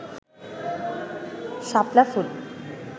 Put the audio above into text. শাপলা ফুল